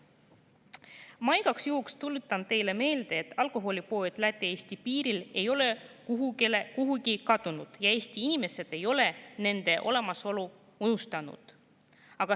Ma tuletan igaks juhuks teile meelde, et alkoholipoed Läti-Eesti piiril ei ole kuhugi kadunud ja Eesti inimesed ei ole nende olemasolu unustanud.